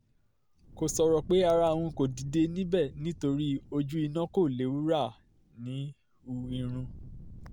kò sọ̀rọ̀ pé ara òun kò dìde níbẹ̀ torí ojú iná kò léwúrà ń hu irun